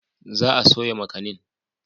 Za a soya makanin.